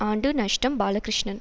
ஆண்டு நஷ்டம் பாலகிருஷ்ணன்